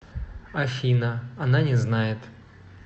афина она не знает